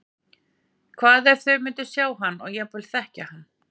Hvað ef þau myndu sjá hann og jafnvel þekkja hann?